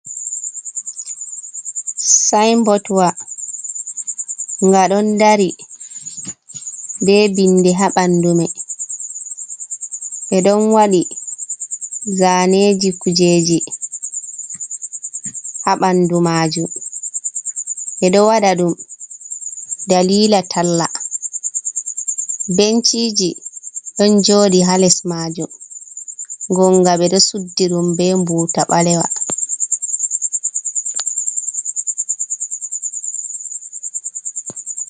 Sinbotwa nga ɗon dari ɓe bindi haa bandumai, ɓe ɗon waɗi zaneji kujeji ha bandu majum, ɓe ɗo waɗa ɗum dalila talla, benciji don joɗi ha les majum ngonga ɓe ɗo suddi ɗum ɓe mbuta ɓalewa.